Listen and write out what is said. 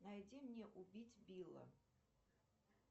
найди мне убить билла